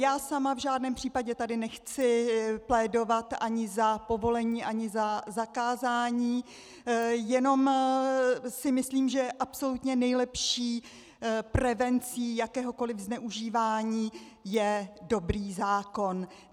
Já sama v žádném případě tady nechci plédovat ani za povolení ani za zakázání, jenom si myslím, že absolutně nejlepší prevencí jakéhokoli zneužívání je dobrý zákon.